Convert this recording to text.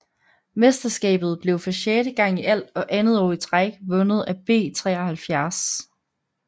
Mesterskabet blev for sjette gang i alt og andet år i træk vundet af B 93